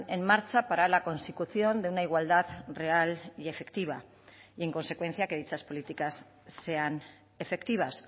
en marcha para la consecución de una igualdad real y efectiva y en consecuencia que dichas políticas sean efectivas